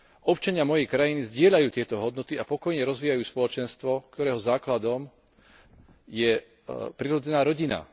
Občania mojej krajiny zdieľajú tieto hodnoty a pokojne rozvíjajú spoločenstvo, ktorého základom je prirodzená rodina.